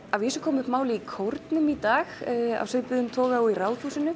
að vísu kom upp mál í kórnum í dag af svipuðum toga og í Ráðhúsinu